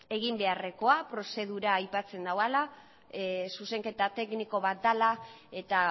egin beharrekoa prozedura aipatzen duela zuzenketa tekniko bat dela eta